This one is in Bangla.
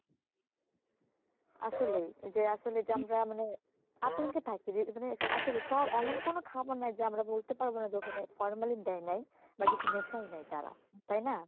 আসলেই যে আসলে যে আমরা মানে আতঙ্কে থাকি যে মানে আসলে সব এমন কোনো খাবার নাই যে আমরা বলতে পারবো না যে ওখানে formalin দেয় নাই বা কিছু মেশায় নাই তারা তাই না?